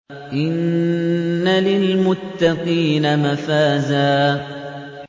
إِنَّ لِلْمُتَّقِينَ مَفَازًا